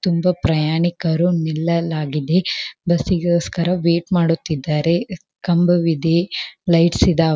ತುಂಬಾ ಪ್ರಯಾಣಿಕರು ನಿಲ್ಲಲಾಗಿದೆ ಬಸ್ಸಿಗೋಸ್ಕರ ವೇಟ್ ಮಾಡುತ್ತಿದ್ದಾರೆ ಕಂಬವಿದೆ ಲೈಟ್ಸ್ ಇದಾವ--